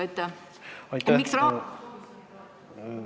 Aitäh!